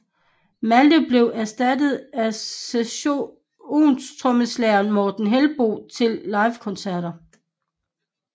Malte blev erstattet af session trommeslageren Morten Hellborn til livekoncerter